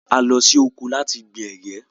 A lọ sí oko láti gbìn ègé